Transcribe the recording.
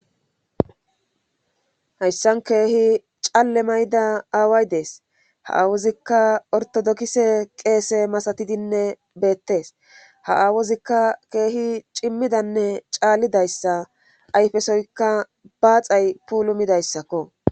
Hayssan keehi caalle mayda aaway dees haawozikka ortodokise qeese masatidinne beettees ha awozikka keehi cimmidanne caallidayssa ayfesoyka baaxay puulumidayssakko.